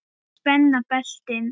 Og spenna beltin.